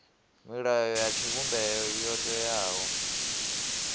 milayo ya tshivhumbeo yo teaho